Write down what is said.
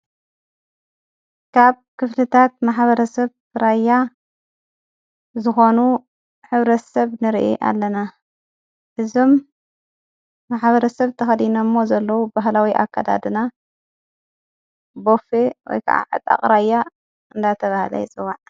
ካብ ክፍልታት ማሓበረ ዠሰብ ራያ ዝኾኑ ሕብረተሰብ ንርኢ ኣለና እዞም ማሓበረተሰብ ተኸዲኖሞ ዘለዉ ብህላዊ ኣካዳድና ቦፌ ወይከዓ ዕጣቕ ራያ እንዳተብሃለ ይፅዋዕ።